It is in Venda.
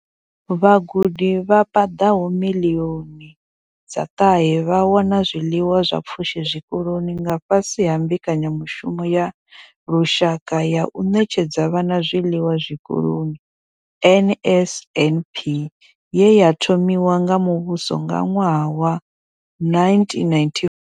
Vhagudi vha paḓaho miḽioni dza ṱahe vha wana zwiḽiwa zwa pfushi zwikoloni nga fhasi ha mbekanyamushumo ya lushaka ya u ṋetshedza vhana zwiḽiwa zwikoloni NSNP ye ya thomiwa nga muvhuso nga ṅwaha wa 1994.